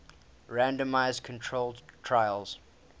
randomized controlled trials